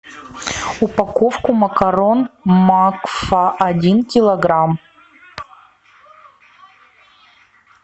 упаковку макарон макфа один килограмм